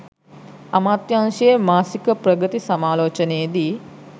අමාත්‍යාංශයේ මාසික ප්‍රගති සමාලෝචනයේ දී